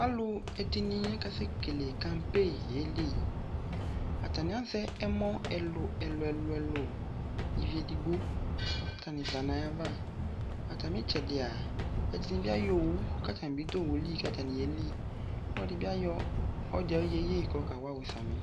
Alu ɛdene akasɛ kele kampen yeliAtane azɛ ɛmɔ ɛluɛlu ɛluɛluɛlu ivi edigbo ka tane za nayava Atame itsɛdea ɛdene be ayɔ owu ka tame be do owu li ka tane yeli Ɔde be ayɔ ɔde aye yeye kɔka waɔ sami